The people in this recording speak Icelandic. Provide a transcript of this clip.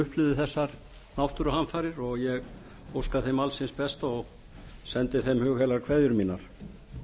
upplifði þessar náttúruhamfarir og ég óska þeim alls hins besta og sendi þeim hugheilar kveðjur mínar